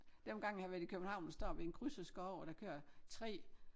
Dem gange jeg har været i København og står ved en kryds og skal over der kører 3